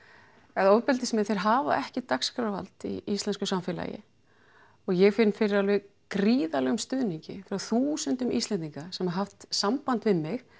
að ofbeldismenn þeir hafa ekki dagskrárvald í íslensku samfélagi og ég finn fyrir alveg gríðarlegum stuðningi frá þúsundum Íslendinga sem hafa haft samband við mig